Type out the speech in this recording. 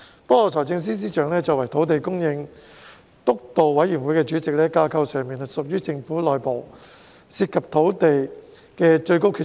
不過，司長作為土地供應督導委員會主席，在架構上是政府內部涉及土地的最高決策人。